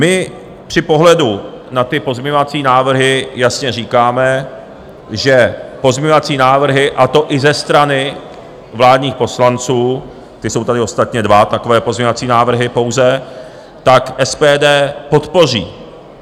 My při pohledu na ty pozměňovací návrhy jasně říkáme, že pozměňovací návrhy, a to i ze strany vládních poslanců - ty jsou tady ostatně dva, takové pozměňovací návrhy pouze - tak SPD podpoří.